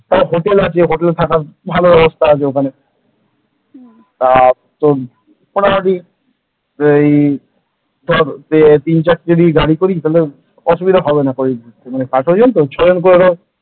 Hotel আছে হোটেলে থাকার ভালো ব্যবস্থা আছে ওখানে আর তোর মোটামুটি ওই তোর তিন-চারটে যদি গাড়ি করি তাহলে অসুবিধা হবে পাঁচজন তো ছজন করে ।